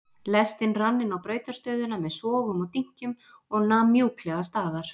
Lestin rann inná brautarstöðina með sogum og dynkjum og nam mjúklega staðar.